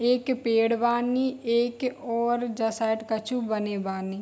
एक पेड़ बानी एक और ये साइड कछु बने बानी।